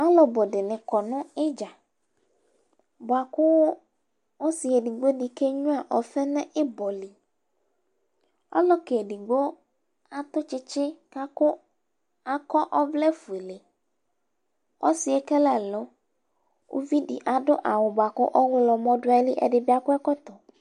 Alʋ ɔbʋ dɩnɩ akɔ nʋ idza, bʋakʋ ɔsɩ edigbo dɩ ke nyʋa ɔfɩ nʋ ɩbɔ li Ɔlʋka edigbo akɔ tsɩtsɩ, akɔ ɔvlɛfuele Ɔsɩ yɛ ekele ɛlʋ Kʋ uvi dɩ adʋ awʋ dɩ bʋakʋ ɔɣlɔmɔ dʋ ayili Ɛdɩ bɩ akɔ ɛkɔtɔ